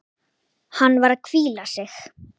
Hann var að hvíla sig.